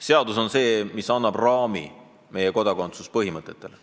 Seadus on see, mis annab raami meie kodakondsuspõhimõtetele.